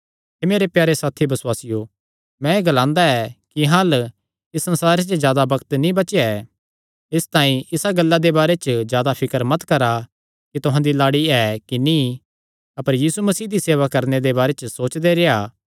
हे मेरे प्यारे साथी बसुआसियो मैं एह़ ग्लांदा ऐ कि अहां अल्ल इस संसारे च जादा बग्त नीं बचेया ऐ इसतांई इसा गल्ला दे बारे जादा फिकर मत करा कि तुहां दी लाड़ी ऐ कि नीं अपर यीशु मसीह दी सेवा करणे दे बारे च सोचदे रेह्आ